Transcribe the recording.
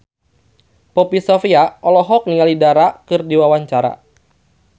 Poppy Sovia olohok ningali Dara keur diwawancara